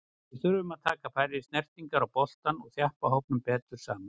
Við þurfum að taka færri snertingar á boltann og þjappa hópnum betur saman.